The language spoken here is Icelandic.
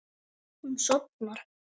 Hún sofnar.